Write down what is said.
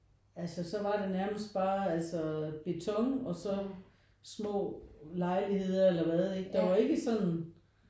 Altså så var der nærmest bare altså beton og så små lejligheder eller hvad ikke der var ikke sådan